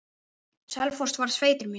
Selfoss varð sveitin mín.